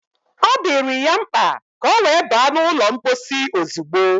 Ọ dịrị ya mkpa ka ọ wee ba n’ụlọ mposi ozugbo